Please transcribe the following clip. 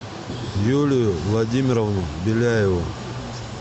юлию владимировну беляеву